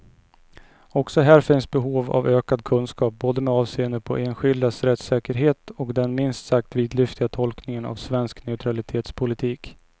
Också här finns behov av ökad kunskap, både med avseende på enskildas rättssäkerhet och den minst sagt vidlyftiga tolkningen av svensk neutralitetspolitik.